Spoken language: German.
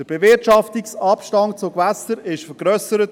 Der Bewirtschaftungsabstand zu Gewässern wurde vergrössert.